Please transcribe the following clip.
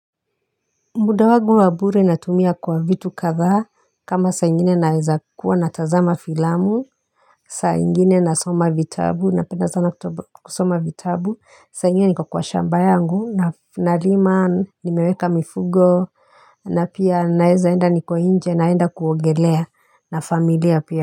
Muda wangu wa bure natumia kwa vitu kadhaa kama saa ingine naweza kuwa natazama filamu saa ingine nasoma vitabu napenda sana kusoma vitabu saa ingine niko kwa shamba yangu na nalima nimeweka mifugo na pia naeza enda niko nje naenda kuongelea na familia pia.